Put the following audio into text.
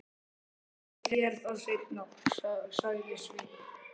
Ég segi þér það seinna, sagði Sveinn.